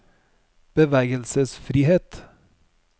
bevegelsesfrihet